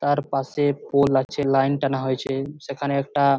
তারপাশে পোল আছে লাইন টানা হয়েছে সেখানে একটা--